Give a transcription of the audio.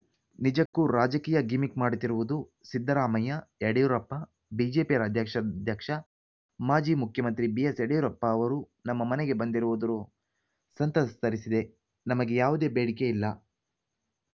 ನಿಜಕ್ಕೂ ರಾಜಕೀಯ ಗಿಮಿಕ್‌ ಮಾಡುತ್ತಿರುವುದು ಸಿದ್ದರಾಮಯ್ಯ ಯಡಿಯೂರಪ್ಪ ಬಿಜೆಪಿ ರಾಜ್ಯಾಧ್ಯಕ್ಷ ಮಾಜಿ ಮುಖ್ಯಮಂತ್ರಿ ಬಿಸ್‌ಯಡಿಯೂರಪ್ಪ ಅವರು ನಮ್ಮ ಮನೆಗೆ ಬಂದಿರುವುದು ಸಂತಸ ತರಿಸಿದೆ ನಮಗೆ ಯಾವುದೇ ಬೇಡಿಕೆ ಇಲ್ಲ